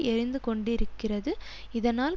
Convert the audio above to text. எரிந்து கொண்டிருக்கிறது இதனால்